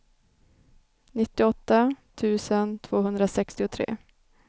nittioåtta tusen tvåhundrasextiotre